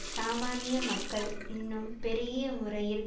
சாமானிய மக்கள் இன்னும் பெருகிய முறையில்